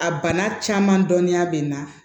A bana caman dɔnniya bɛ n na